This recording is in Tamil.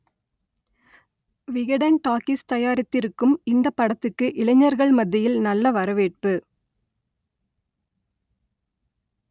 விகடன் டாக்கீஸ் தயா‌ரித்திருக்கும் இந்தப் படத்துக்கு இளைஞர்கள் மத்தியில் நல்ல வரவேற்பு